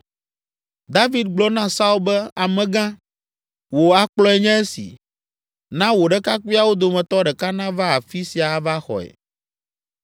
David gblɔ na Saul be, “Amegã, wò akplɔe nye esi, na wò ɖekakpuiawo dometɔ ɖeka nava afi sia ava xɔe.